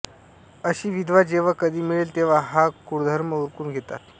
अशी विधवा जेव्हा कधी मिळेल तेव्हा हा कुळधर्म उरकून घेतात